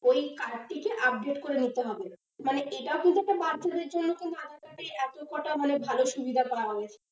ওই card টিকে update করে নিতে হবে, মানে এটাও কিন্তু একটা বাচ্চাদের জন্য কোন aadhaar card এর এত কটা ভালো সুবিধা পাওয়া হয়েছে।